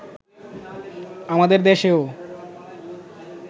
আমাদের দেশেও